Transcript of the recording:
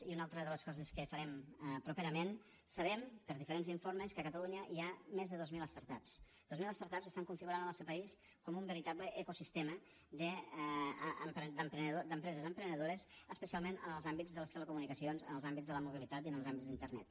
i una de les altres coses que farem properament sabem per diferents informes que a catalunya hi ha més de dues mil start ups dues mil ups estan configurant el nostre país com un veritable ecosistema d’empreses emprenedores especialment en els àmbits de les telecomunicacions en els àmbits de la mobilitat i en els àmbits d’internet